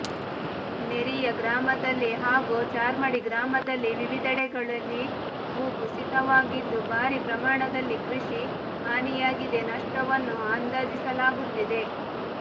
ನೆರಿಯ ಗ್ರಾಮದಲ್ಲಿ ಹಾಗೂ ಚಾರ್ಮಾಡಿ ಗ್ರಾಮದಲ್ಲಿ ವಿವಿದೆಡೆಗಳಲ್ಲಿ ಭು ಕುಸಿತವಾಗಿದ್ದು ಭಾರೀ ಪ್ರಮಾಣದಲ್ಲಿ ಕೃಷಿ ಹಾನಿಯಾಗಿದೆ ನಷ್ಟವನ್ನು ಅಂದಾಜಿಸಲಾಗುತ್ತಿದೆ